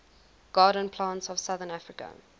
garden plants of southern africa